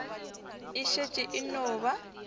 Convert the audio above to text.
e šetše e no ba